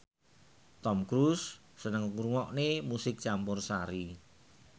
Tom Cruise seneng ngrungokne musik campursari